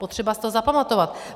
Potřeba si to zapamatovat.